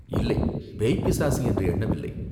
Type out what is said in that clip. "இல்லை, பேய்பிசாசு என்று எண்ணவில்லை.